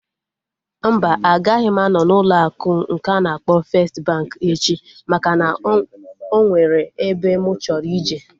Mba, agaghị m anọ n'ụlọ akụ nke a na-akpọ festi bankị echi maka na o nwere ebe mụ chọrọ ije